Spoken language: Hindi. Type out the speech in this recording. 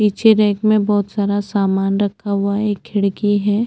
नीचे रैक मे बहुत सारा सामान रखा हुआ है एक खिड़की है।